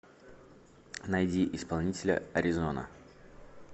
найди исполнителя а р и з о н а